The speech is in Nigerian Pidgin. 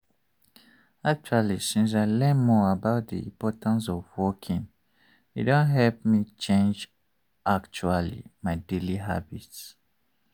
actually since i learn more about the importance of walking e don help me change actually my daily habits.